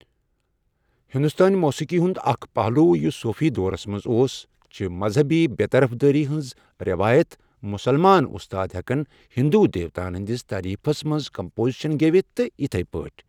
ہندوستٲنی موسیٖقی ہُنٛد اکھ پہلو یُس صوٗفی دورَس منٛز اوس چھِ مذہبی بےٚ طرف دٲری ہنٛز رٮ۪وایت مسلمان استاد ہَٮ۪کہن ہندو دیوتاہن ہٕنٛدس تعریٖفس منٛز کمپوزیشن گیٚوِتھ تہٕ یتھی پٲٹھۍ